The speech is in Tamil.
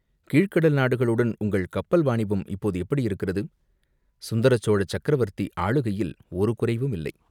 "கீழ்க்கடல் நாடுகளுடன் உங்கள் கப்பல் வாணிபம் இப்போது எப்படியிருக்கிறது?" "சுந்தர சோழ சக்கரவர்த்தி ஆளுகையில் ஒரு குறைவும் இல்லை.